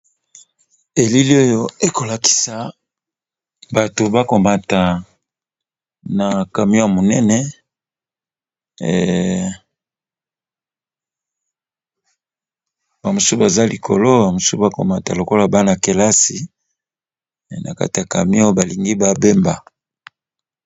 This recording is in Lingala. Elili oyo eza kolakisa batu baza komata na camion ya munene basusu baza na kati na komata lokola bana kelasi nakati ya camion.